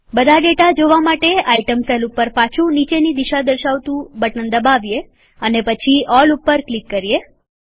બધા ડેટા જોવા માટેઆઈટમ સેલ ઉપર પાછુ નીચેની દિશા સૂચવતું બટન દબાવીએ અને પછી ઓલ ઉપર ક્લિક કરીએ